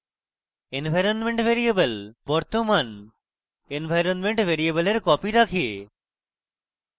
environment variable বর্তমান environment ভ্যারিয়েবলের copy রাখে যেমনকি নিম্নরূপ